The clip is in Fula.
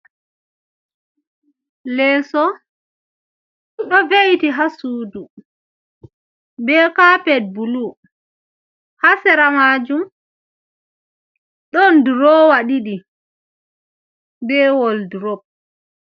Lisu, do ve’iti ha sudu, be caped bulu, ha seramajum don drowa didi be woldrop,